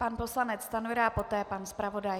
Pan poslanec Stanjura a poté pan zpravodaj.